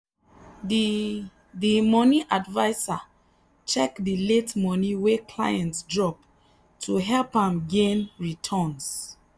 the the money adviser check the late money wey client drop to help am gain better returns.